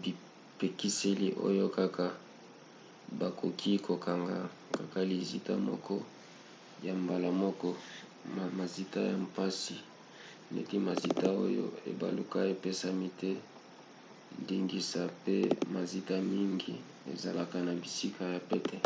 bipekiseli oyo kaka bakoki kokanga kaka lizita moko na mbala moko mazita ya mpasi neti mazita oyo ebaluka epesami te ndingisa pe mazita mingi ezalaka na bisika ya pete